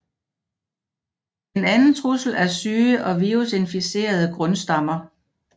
En anden trussel er syge og virusinficerede grundstammer